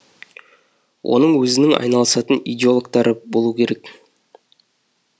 оның өзінің айналысатын иделогтары болу керек